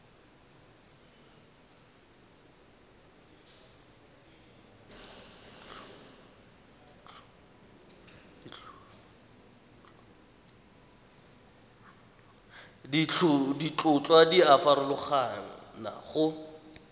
ditlhotlhwa di a farologana go